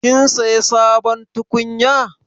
Kin saya sabon tukunya?